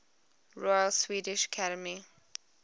royal swedish academy